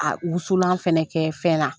A wusulan fɛnɛ kɛ fɛn na.